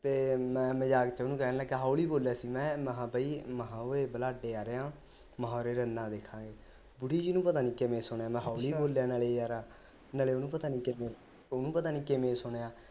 ਤੇ ਮੈਂ ਮਜ਼ਾਕ ਵਿਚ ਉਹਨੂੰ ਕਹਿਣ ਲੱਗਾ ਹੋਲੀ ਬੋਲਿਆ ਸੀ ਮੈਂ ਹਾ ਬਈ ਮੈਂ ਹਾ ਓਏ ਆ ਰਿਹਾ ਮੈਂ ਰੰਨਾ ਵੇਖਾਗੇ ਬੁੜੀ ਜੀ ਨੂੰ ਪਤਾ ਨੀ ਕਿਵੇਂ ਸੁਣਿਆ ਮੈਂ ਹੋਲੀ ਬੋਲਿਆ ਨਾਲੇ ਯਾਰ ਨਾਲੇ ਉਹਨੂੰ ਪਤਾ ਨੀ ਕਿਵੇਂ ਉਹਨੂੰ ਪਤਾ ਨੀ ਕਿਵੇਂ ਸੁਣਿਆ